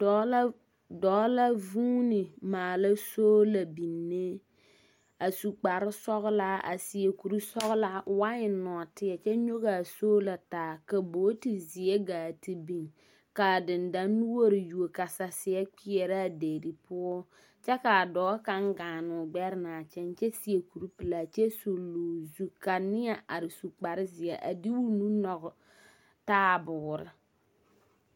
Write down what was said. dɔɔ la . dɔɔ la vũũni maala soola binne. A su kpare sɔgelaa aseɛ kuri sɔgelaa o ba eŋ nɔ2teɛ kyɛnyɔge a soola taa ka booti zeɛ gaa te biŋ ka a dendɔnoɔre you ka saseɛ kpeɛrɛ a deri poɔ. kyɛ ka dɔɔ kaŋ gaane o gbɛre naa kyɛŋ kyɛ seɛ kuri pelaa kyɛ suli o zu ka neɛ are su kpare zeɛ a de o nu nyɔge taaboore.